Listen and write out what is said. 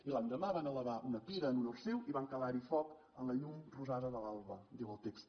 i l’endemà van elevar una pira en honor seu i van calarhi foc en la llum rosada de l’alba diu el text